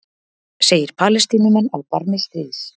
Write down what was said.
Segir Palestínumenn á barmi stríðs